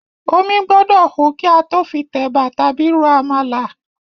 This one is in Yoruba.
Omí gbọ́dọ̀ hó kí a tó fi tẹ̀bà tàbí ro àmàlà.